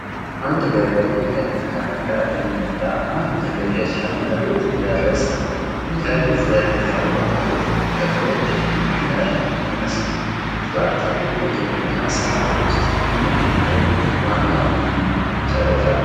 አንድ ገበሬ ቀይ ትራክተር እየነዳ አንድ ትልቅ የእርሻ መሬት እያረሰ ነው። ከፊት ለፊት ያለው መሬት ጥቁር እና ለም ይመስላል። ትራክተሩ በግብርና ሥራ ውስጥ ምን ያህል ዋና ሚና ይጫወታል?